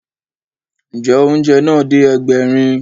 Ǹjẹ́, oúnjẹ náà dé Ẹgbẹ̀rin